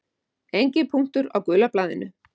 Enginn punktur á gula blaðinu.